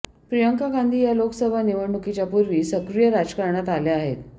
प्रियांका गांधी या लोकसभा निवडणुकीच्या पूर्वी सक्रिय राजकारणात आल्या आहेत